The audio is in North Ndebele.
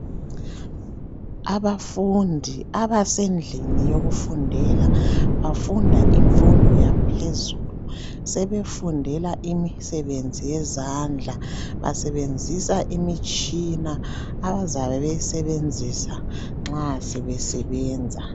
Abafundi abasedlini yokufundela bafunda imfundo yaphezulu sebefundela imisebenzi yezandla basebenzisa imitshina abazabe beyisebenzisa nxa sebe sebenza.